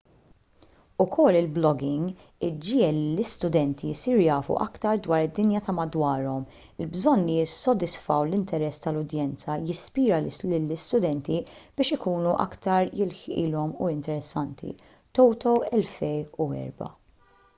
ukoll il-blogging iġiegħel lill-istudenti jsiru jafu aktar dwar id-dinja ta' madwarhom. il-bżonn li jissodisfaw l-interess tal-udjenza jispira lill-istudenti biex ikunu aktar jilħqilhom u interessanti toto 2004